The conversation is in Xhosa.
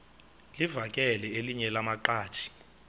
livakele elinye lamaqhaji